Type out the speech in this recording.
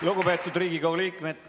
Lugupeetud Riigikogu liikmed!